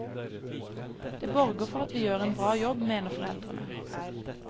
Det borger for at vi gjør en bra jobb, mener foreldrene.